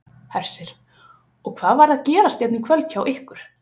Hersir: Og hvað var að gerast hérna í kvöld hjá ykkur?